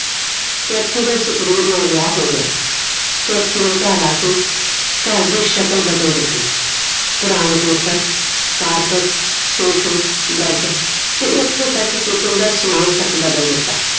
Kathy ਦਾ ਸਤਵੀਰ ਨਾਲ ਵਿਆਹ ਹੋ ਗਿਆ ਕੈਥੀ ਨੇ ਘਰ ਆਕੇ ਘਰ ਦੀ ਸ਼ਕਲ ਬਦਲ ਦਿੱਤੀ ਪੁਰਾਣੇ paper carpet ਸੋਫੇ bed ਤੇ ਇਥੋਂ ਤਕ kitchen ਦਾ ਸਮਾਨ ਤੱਕ ਬਦਲ ਦਿੱਤਾ